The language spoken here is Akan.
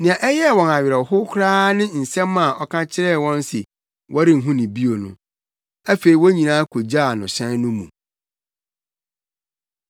Nea ɛyɛɛ wɔn awerɛhow koraa ne asɛm a ɔka kyerɛɛ wɔn se wɔrenhu no bio no. Afei wɔn nyinaa kogyaa no hyɛn no mu.